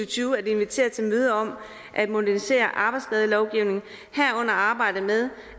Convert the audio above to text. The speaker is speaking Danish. tyve at invitere til møde om at modernisere arbejdsskadelovgivningen herunder arbejdet med